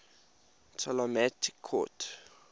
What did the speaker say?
ptolemaic court